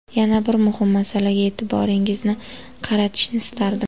Yana bir muhim masalaga e’tiboringizni qaratishni istardim.